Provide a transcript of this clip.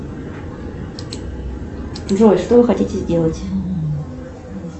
джой что вы хотите сделать